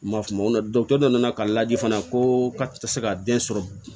N ma fama o la dɔkitɛri nana ka lajɛ fana ko ka tɛ se ka den sɔrɔ